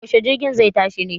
Yaushe jirgin zai tashi ne?